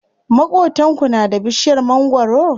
Maƙotanku na da bishiyar mangwaro?